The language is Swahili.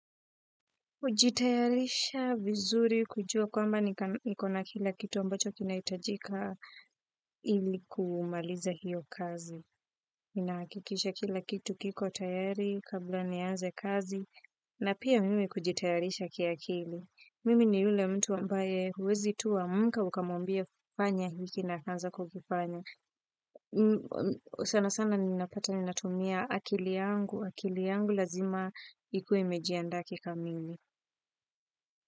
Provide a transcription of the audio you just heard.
Hujitayarisha vizuri kujua kwamba niko na kila kitu ambacho kinaitajika ili kumaliza hiyo kazi. Ninahakikisha kila kitu kiko tayari kabla nianze kazi na pia mimi kujitayarisha kia akili. Mimi ni yule mtu ambaye huwezi tu amka ukamwambia fanya hiki na akaanza kukifanya. Sana sana ninapata ninatumia akili yangu, akili yangu lazima ikuwe imejianda kikamili.